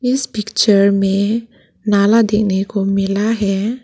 इस पिक्चर में नाला देखने को मिला है।